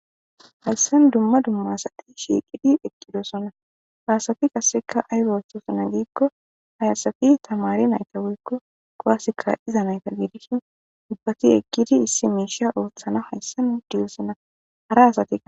Hayssen dumma dummaasati shiiqidhi eqqidosona haasafi kasseka aygoostosona giikko hayasafi tamari nayta woykko koaseka iza nayta giidishin ubbati eqqidi issi miisha ooththana hayssan diyosina hara asati